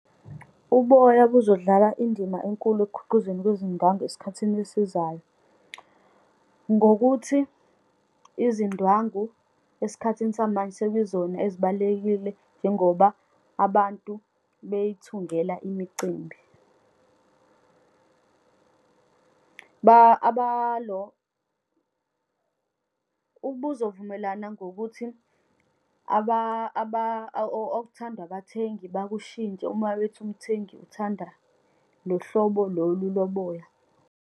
Uboya buzodlala indima enkulu ekukhiqizweni kwezindwangu esikhathini esizayo. Ngokuthi izindwangu esikhathini samanje sekuyizona ezibalulekile, njengoba abantu beyithungela imicimbi. Abalo, ukuba uzovumelana ngokuthi okuthandwa abathengi bakushintshe, uma bethi umthengi uthanda lohlobo lolu loboya.